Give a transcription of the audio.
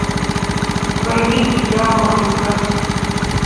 двойник дьявола искать